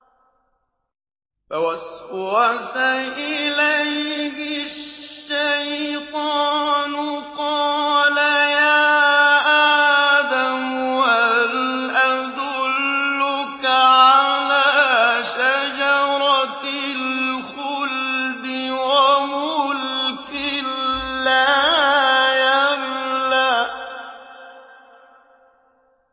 فَوَسْوَسَ إِلَيْهِ الشَّيْطَانُ قَالَ يَا آدَمُ هَلْ أَدُلُّكَ عَلَىٰ شَجَرَةِ الْخُلْدِ وَمُلْكٍ لَّا يَبْلَىٰ